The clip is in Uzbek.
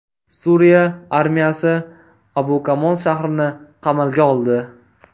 Suriya armiyasi Abu Kamol shahrini qamalga oldi.